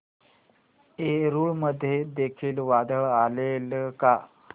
एलुरू मध्ये देखील वादळ आलेले का